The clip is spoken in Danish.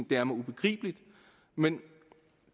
det er mig ubegribeligt men